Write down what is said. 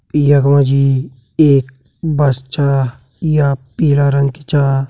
यखमा जी एक बस छा या पीला रंग की चा।